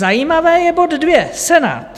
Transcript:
Zajímavý je bod dvě - Senát.